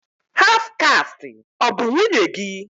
Haf kasti ọ bụ nwunye gị?